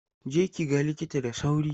Je ki ga likita da sauri!